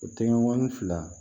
O tɛgɛni fila